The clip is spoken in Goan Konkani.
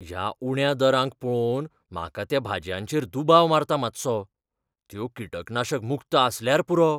ह्या उण्या दरांक पळोवन म्हाका त्या भाजयांचेर दुबाव मारता मातसो. त्यो किटकनाशक मुक्त आसल्यार पुरो.